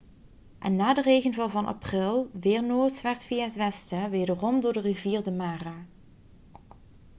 en na de regenval van april weer noordwaarts via het westen wederom door de rivier de mara